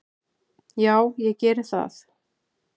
"""Já, ég geri það."""